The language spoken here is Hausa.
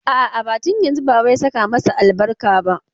A'a, ba tun yanzun baba ya saka masa albarka ba.